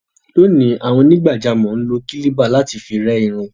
Lónìí, àwọn onígbàjámọ̀ ń lo kílíbà láti fi rẹ́ irun.